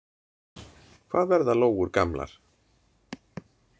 Hvað verða lóur gamlar?